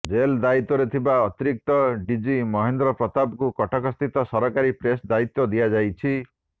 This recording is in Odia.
ଜେଲ୍ ଦାୟିତ୍ୱରେ ଥିବା ଅତରିକ୍ତ ଡିଜି ମହେନ୍ଦ୍ର ପ୍ରତାପଙ୍କୁ କଟକସ୍ଥିତ ସରକାରୀ ପ୍ରେସ୍ ଦାୟିତ୍ୱ ଦିଆଯାଇଛି